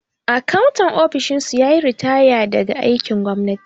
Akantan ofishin su yayi ritaya daga aikin gwamnati